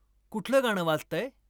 कुठलं गाणं वाजतंय ?